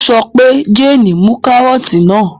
Ó sọ pé 'Jane mú kárọ́tì náà!